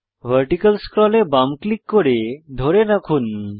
vertical scroll এ বাম click করে ধরে রাখুন